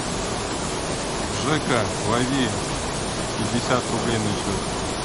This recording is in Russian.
жека лови пятьдесят рублей на счет